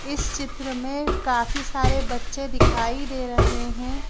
इस चित्र में काफी सारे बच्चे दिखाई दे रहे हैं।